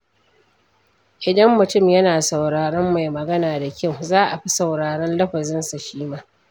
Idan mutum yana sauraron mai magana da kyau, za a fi sauraron lafazinsa shi ma.